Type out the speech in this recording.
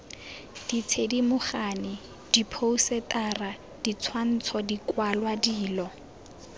dithedimogane diphousetara ditshwantsho dikwalwa dilo